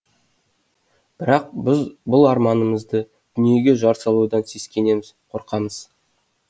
бірақ біз бұл арманымызды дүниеге жар салудан сескенеміз қорқамыз